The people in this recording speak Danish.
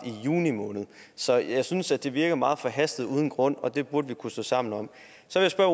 i juni måned så jeg synes at det virker meget forhastet uden grund og det burde vi kunne stå sammen om